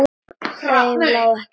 Þeim lá ekkert á.